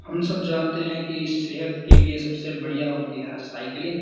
हम सब जानते हैं कि सेहत के लिए सबसे बढ़िया होती है साइकिलिंग --